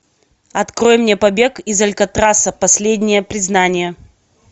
открой мне побег из алькатраса последнее признание